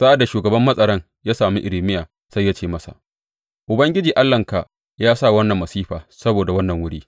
Sa’ad da shugaban matsaran ya sami Irmiya sai ya ce masa, Ubangiji Allahnka ya sa wannan masifa saboda wannan wuri.